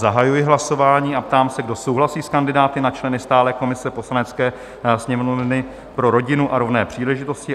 Zahajuji hlasování a ptám se, kdo souhlasí s kandidáty na členy stálé komise Poslanecké sněmovny pro rodinu a rovné příležitosti?